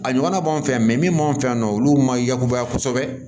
A ɲɔgɔnna b'anw fɛ min b'an fɛ yan nɔ olu ma yakubaya kosɛbɛ